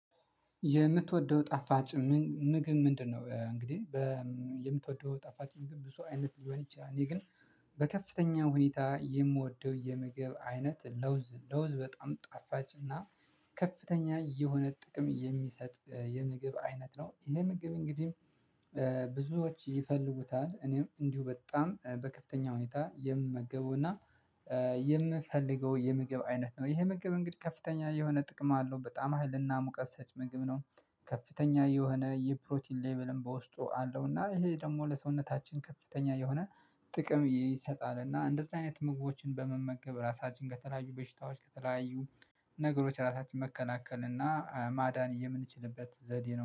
የምትወደው ጣፋጭ ምግብ ምንድነው? እንግዲህ የምትወደው ጣፋጭ ምግብ ብዙ አይነት ሊሆን ይችላል። እኔ ግን በከፍተኛ ሁኔታ የምወደው የምግብ አይነት ለውዝ ለውዝ በጣም ጣፋጭ እና ከፍተኛ የሆነ ጥቅም የሚሰጥ የምግብ አይነት ነው። ይሄ ምግብ እንግዲህ ብዙዎች ይፈልጉታል እኔም እንዲሁ በጣም በከፍተኛ ሁኔታ የምመገበውና የምፈልገው የምግብ አይነት ነው። ይሄ መግብ እንግዲህ ከፍተኛ የሆነ ጥቅም አለው በጣም ሀይልና ሙቀት ሰጭ ምግብ ነው። ከፍተኛ የሆነ የፕሮቲን ሌቭልም በውስጡ አለው። እና ይሄ ደግሞ ለሰውነታችን ከፍተኛ የሆነ ጥቅም ይሰጣል። እና እንደዛ አይነት ምግቦችን በመመገብ ራሳችን ከተለያዩ በሽታዎች ከተለያዩ ነገሮች ራሳችን መከናከል እና ማዳን የምንችልበት ዘዴ ነው